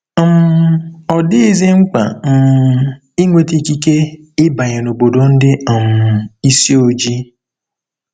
um Ọ dịghịzi mkpa um ịnweta ikike ịbanye n'obodo ndị um isi ojii.